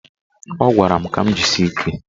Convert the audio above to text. Ọ gwara m ka m jisie ike.